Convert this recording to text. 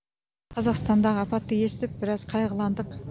қазақстандағы апатты естіп біраз қайғыландық